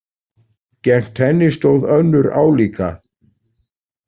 Gegnt henni stóð önnur álíka.